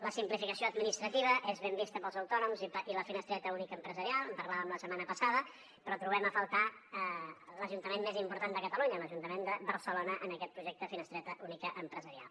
la simplificació administrativa és ben vista pels autònoms i la finestreta única empresarial en parlàvem la setmana passada però trobem a faltar l’ajuntament més important de catalunya l’ajuntament de barcelona en aquest projecte finestreta única empresarial